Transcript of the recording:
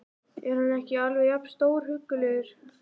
Er hann ekki alveg jafn stórhuggulegur?